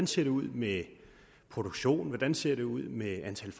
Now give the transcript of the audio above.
ser ud med produktionen hvordan det ser ud med antallet